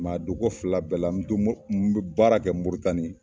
a donko fila bɛɛ la n bɛ baara kɛ MORITANI.